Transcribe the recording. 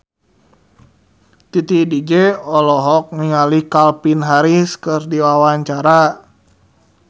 Titi DJ olohok ningali Calvin Harris keur diwawancara